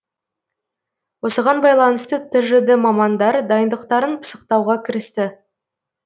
осыған байланысты тжд мамандары дайындықтарын пысықтауға кірісті